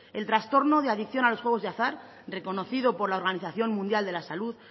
el trastorno de adicción a los juegos de azar reconocido por la organización mundial de la salud